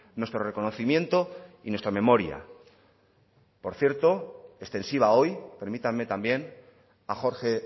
nuestro reconocimiento y nuestra memoria por cierto extensiva hoy permítanme también a jorge